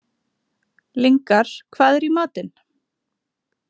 Lyngar, hvað er í matinn?